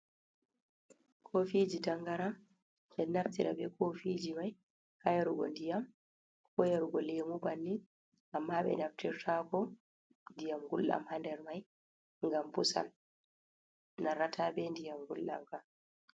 Kofiji tangaran, men ɗo naftira be kofiji mai ha yargo diyam, ko yar go lemu bannin, amma ɓe naftirtako diyam gulɗam handar man gam pusan narrata be ndiyam gulɗam kam.